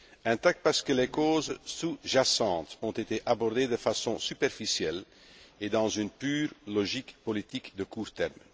Intact parce que les causes sous jacentes ont été abordées de façon superficielle et dans une pure logique politique de court terme.